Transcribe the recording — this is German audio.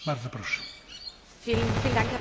Herr Präsident, sehr geehrte Frau Kommissarin!